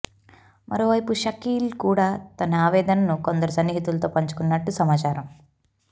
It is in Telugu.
మరోవైపు షకీల్ కూడా తన ఆవేదనను కొందరు సన్నిహితులతో పంచుకున్నట్లు సమాచారం